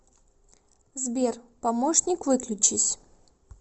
сбер помощник выключись